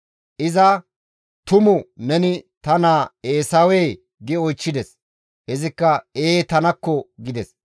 Iza, «Tumu neni ta naa Eesawee?» gi oychchides. Izikka, «Ee tanakko!» gides.